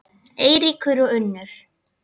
Eiríkur og Unnur.